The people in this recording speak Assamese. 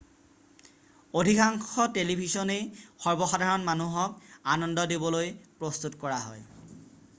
অধিকাংশ টেলিভিছনেই সৰ্বসাধাৰণ মানুহক আনন্দ দিবলৈ প্ৰস্তুত কৰা হয়৷